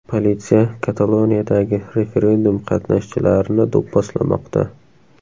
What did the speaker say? Politsiya Kataloniyadagi referendum qatnashchilarini do‘pposlamoqda.